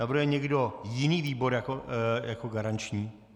Navrhuje někdo jiný výbor jako garanční?